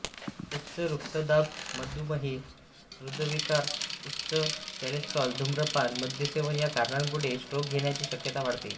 उच्च रक्तदाब मधुमेह हृदयविकार उच्च कोलेस्ट्रॉल धुम्रपान मद्यसेवन या कारणांमुळे स्ट्रोक येण्याची शक्यता वाढते